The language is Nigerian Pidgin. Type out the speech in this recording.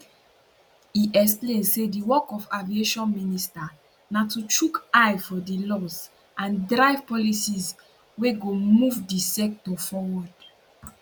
e explain say di work of aviation minister na to chook eye for di laws and drive policies wey go move di sector forward